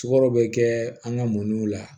Sukaro bɛ kɛ an ka mɔniw la